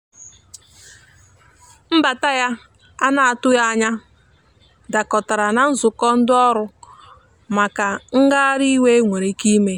mbata ya ana atụghi anya dakọtara na nzụkọ ndi ọrụ maka ngahari iwe enwere ike ime.